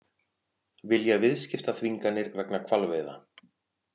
Vilja viðskiptaþvinganir vegna hvalveiða